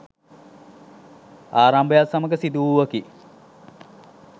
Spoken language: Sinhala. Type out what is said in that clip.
ආරම්භයත් සමඟ සිදු වූවකි.